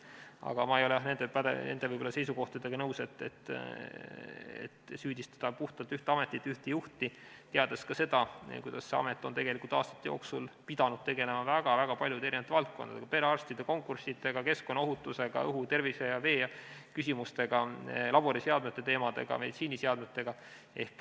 Aga ma ei ole nende seisukohtadega nõus, et süüdistada puhtalt ühte ametit ja ühte juhti, teades ka seda, kuidas see amet on aastate jooksul pidanud tegelema väga paljude valdkondadega: perearstide konkursiga, keskkonnaohutusega, õhu-, tervise- ja veeküsimustega, laboriseadmete teemadega, meditsiiniseadmetega.